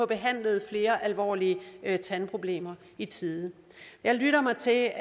behandlet flere alvorlige tandproblemer i tide jeg lytter mig til at